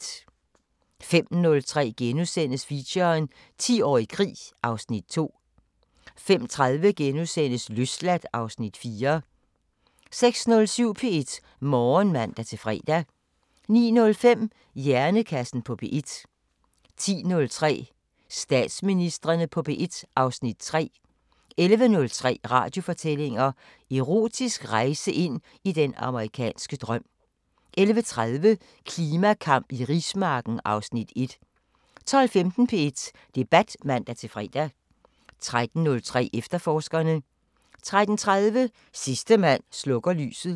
05:03: Feature: 10 år i krig (Afs. 2)* 05:30: Løsladt (Afs. 4)* 06:07: P1 Morgen (man-fre) 09:05: Hjernekassen på P1 10:03: Statsministrene på P1 (Afs. 3) 11:03: Radiofortællinger: Erotisk rejse ind i den amerikanske drøm 11:30: Klimakamp i rismarken (Afs. 1) 12:15: P1 Debat (man-fre) 13:03: Efterforskerne 13:30: Sidste mand slukker lyset